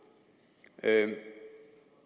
er at det